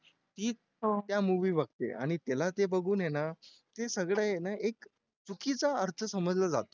तीच त्या movie बघते आणि त्याला ते बघून आहे ना ते सगळे आहे ना एक चुकीचा अर्थ समजला जातो